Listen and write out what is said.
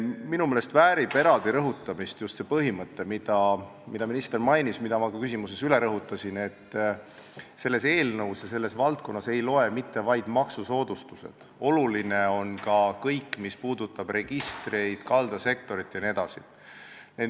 Minu meelest väärib eraldi rõhutamist just see põhimõte, mida mainis minister ja mida ma ka oma küsimuses esile tõin: selles eelnõus ja selles valdkonnas ei loe mitte vaid maksusoodustused, oluline on ka kõik, mis puudutab registreid, kaldasektorit jne.